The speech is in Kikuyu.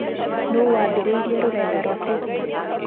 Nũũ waambĩrĩirie rũrenda rwa Facebook?